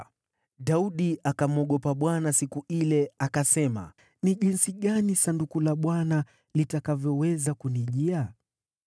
Daudi akamwogopa Bwana siku ile, akasema, “Ni jinsi gani Sanduku la Bwana litakavyoweza kunijia?”